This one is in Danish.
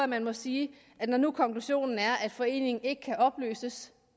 man må sige at når nu konklusionen er at foreningen ikke kan opløses